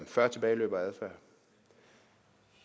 før tilbageløb og adfærd